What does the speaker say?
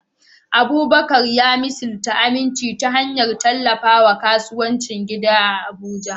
Abubakar ya misalta aminci ta hanyar tallafawa kasuwancin gida a Abuja.